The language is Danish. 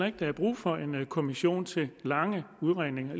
ikke der er brug for en kommission til lange udredninger